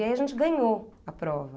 E aí a gente ganhou a prova.